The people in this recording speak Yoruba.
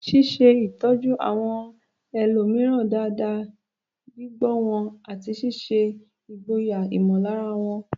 Ṣíṣe ìtọ́jú àwọn ẹlòmíràn dáadáa, gbígbọ́ wọn, àti ṣíṣe ìgboyà ìmọ̀lára wọn.